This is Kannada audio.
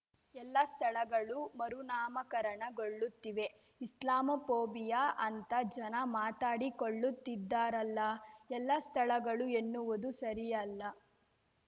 ಎಲ್ಲಾ ಸ್ಥಳಗಳು ಮರುನಾಮಕರಣಗೊಳ್ಳುತ್ತಿವೆ ಇಸ್ಲಾಮೋಫೋಬಿಯಾ ಅಂತ ಜನ ಮಾತಾಡಿಕೊಳ್ಳುತ್ತಿದ್ದಾರಲ್ಲಾ ಎಲ್ಲಾ ಸ್ಥಳಗಳು ಎನ್ನುವುದು ಸರಿಯಲ್ಲ